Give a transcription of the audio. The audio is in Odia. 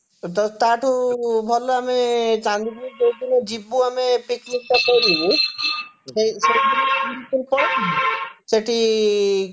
ତ ତା ଠୁ ଭଲ ଆମେ ଚାନ୍ଦିପୁର ଯଉ ଦିନ ଯିବୁ ଆମେ picnic ଟା ପାଇଁ ସେଇଦିନ ଚାନ୍ଦିପୁର ପଳେଇବୁ ସେଠି